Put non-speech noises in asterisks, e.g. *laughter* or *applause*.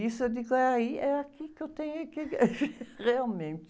Isso eu digo, é aí, é aqui que eu tenho é que *laughs* realmente...